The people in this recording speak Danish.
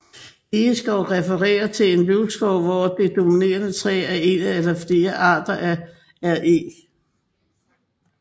Egeskov refererer til en løvskov hvor det dominerende træ er en eller flere arter af Eg